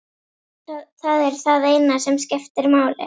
Það er það eina sem skiptir máli.